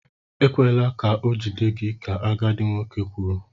Ekwela ka ọ jide gị! ka agadi nwoke kwuru.